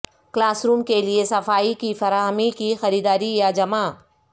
class room کے لئے صفائی کی فراہمی کی خریداری یا جمع